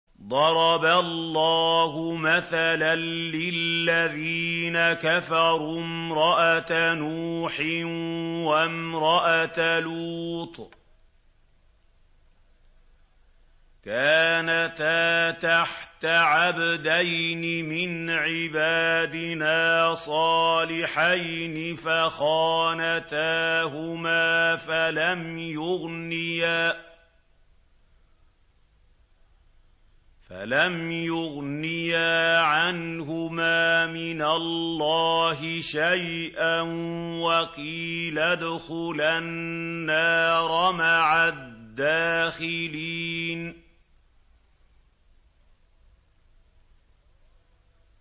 ضَرَبَ اللَّهُ مَثَلًا لِّلَّذِينَ كَفَرُوا امْرَأَتَ نُوحٍ وَامْرَأَتَ لُوطٍ ۖ كَانَتَا تَحْتَ عَبْدَيْنِ مِنْ عِبَادِنَا صَالِحَيْنِ فَخَانَتَاهُمَا فَلَمْ يُغْنِيَا عَنْهُمَا مِنَ اللَّهِ شَيْئًا وَقِيلَ ادْخُلَا النَّارَ مَعَ الدَّاخِلِينَ